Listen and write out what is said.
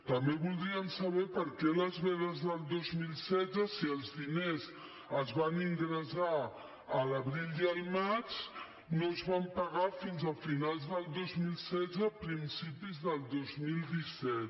també voldríem saber per què les vedes del dos mil setze si els diners es van ingressar a l’abril i al maig no es van pagar fins a finals del dos mil setze principis del dos mil disset